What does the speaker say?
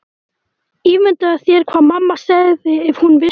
Ímyndaðu þér hvað mamma segði ef hún vissi.